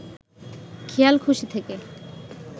খেয়ালখুশি থেকে